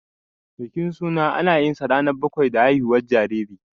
Bikin suna, ana yinsa ranar bakwai da haihuwar jinjiri.